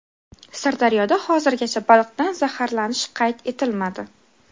Sirdaryoda hozirgacha baliqdan zaharlanish qayd etilmadi.